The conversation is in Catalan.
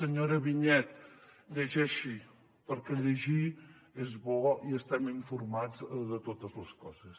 senyora vinyets llegeixi perquè llegir és bo i estem informats de totes les coses